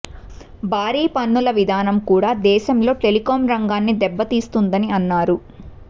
భారీ పన్నుల విధానం కూడా దేశంలో టెలికాం రంగాన్ని దెబ్బతీస్తున్నదని అన్నారు